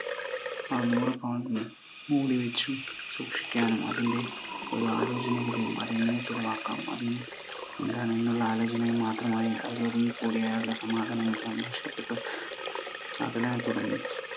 ആ നൂറു pound കൾ മൂടി വച്ച് സൂക്ഷിക്കാനും അതിൻ്റെ ഒരു ആലോചനയിലും അത് എങ്ങനെ ചിലവാക്കാം, അത് എന്താണെന്നുള്ള ആലോചനയിൽ മാത്രമായി അവർ ഒതുങ്ങിക്കൂടി അയാളുടെ സമാധാനം എല്ലാം നഷ്ടപ്പെട്ടു. അതിനായി തുടങ്ങി.